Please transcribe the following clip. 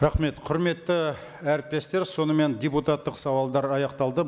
рахмет құрметті әріптестер сонымен депутаттық сауалдар аяқталды